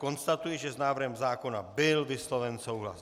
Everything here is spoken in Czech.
Konstatuji, že s návrhem zákona byl vysloven souhlas.